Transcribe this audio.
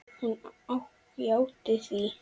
Hún játti því.